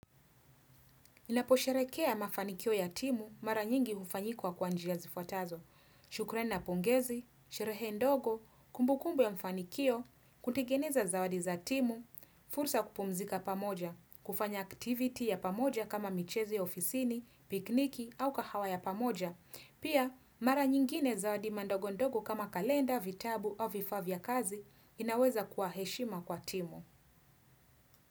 Naposherheekea mafanikio ya timu mara nyingi hufanyikwa kwa njia zifuatazo. Shukurani na pongezi, sherehe ndogo, kumbukumbu ya mfanikio, kutegeneza zawadi za timu, fursa ya kupumzika pamoja, kufanya activity ya pamoja kama michezo ya ofisini, pikniki au kahawa ya pamoja. Pia, mara nyingine zawadi mandogo ndogo kama kalenda, vitabu au vifaa vya kazi inaweza kwa heshima kwa timu.